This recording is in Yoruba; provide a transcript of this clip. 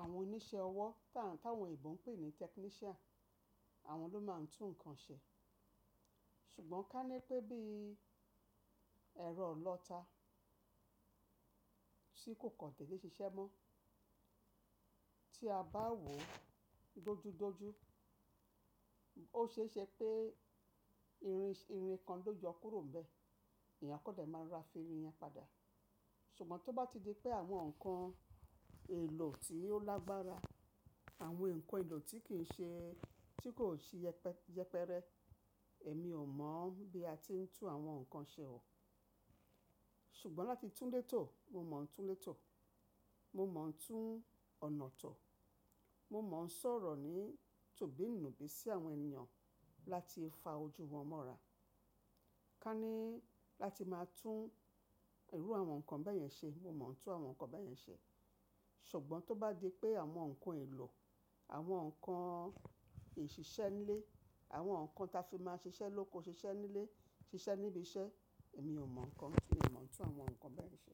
Àwọn oníṣẹ́ ọwọ́, tá ń táwọn ebò ń pè ní technician, àwọn ló máa ń tún nǹkan ṣe. Ṣùgbọ́n ká ní pé bí ẹ̀rọ ọlọ́ta tí kò kàn dèdè ṣiṣẹ́ mọ́ tí a bá wò ó dojúdojú, ó ṣéṣe pé irin, irin kan ló yọ kúrò níbẹ̀. Èèyàn kọ́ dẹ̀ máa ra firìnyàn padà. Ṣùgbọ́n tó bá ti di pé àwọn nǹkan èlò tí ó lágbára, àwọn nǹkan èlò tí kì í ṣe, tí kò ṣe yẹpẹrẹ, èmi ò mọ̀ bí a ti ń tún àwọn nǹkan ṣe o. Ṣùgbọ́n láti tún létò, mo mọ̀ ń tún létò. Mo mọ̀ ń tún ọ̀nà tọ̀. Mo mọ̀ ń sọ̀rọ̀ ní tobìnúbí sí àwọn ènìyàn láti fa ojú wọn mọ́ra. Ka ní láti máa tún irú àwọn nǹkan bẹ́yẹn ṣe, mo mọ̀ ń tún àwọn nǹkan bẹ́yẹn ṣe. Ṣùgbọ́n tó bá di pé àwọn nǹkan èlò, àwọn nǹkan ìṣiṣẹ́ nílé, àwọn nǹkan ta fi máa ń ṣiṣẹ́ lóko, ṣiṣẹ́ nílé, ṣiṣẹ́ níbi iṣẹ́, èmi ò mọ̀ nǹkan tí èmi mọ̀ ń tún àwọn nǹkan bẹ́yẹn ṣe.